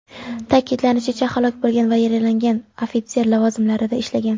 Ta’kidlanishicha, halok bo‘lgan va yaralanganlar ofitser lavozimlarida ishlagan.